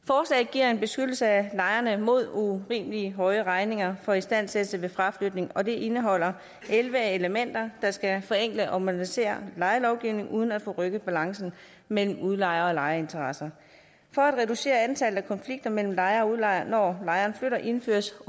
giver en beskyttelse af lejerne mod urimelig høje regninger for istandsættelse ved fraflytning og det indeholder elleve elementer der skal forenkle og modernisere lejelovgivningen uden at forrykke balancen mellem udlejer og lejerinteresser for at reducere antallet af konflikter mellem lejer og udlejer når lejeren flytter indføres